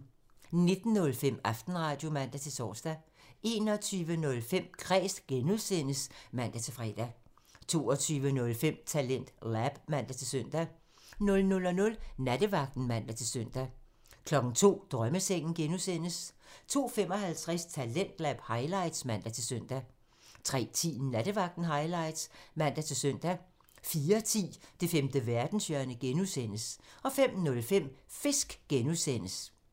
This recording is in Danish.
19:05: Aftenradio (man-tor) 21:05: Kræs (G) (man-fre) 22:05: TalentLab (man-søn) 00:00: Nattevagten (man-søn) 02:00: Drømmesengen (G) (man) 02:55: Talentlab highlights (man-søn) 03:10: Nattevagten highlights (man-søn) 04:10: Det femte verdenshjørne (G) (man) 05:05: Fisk (G) (man)